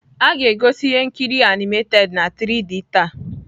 A ga-egosi ihe nkiri animated na 3d taa.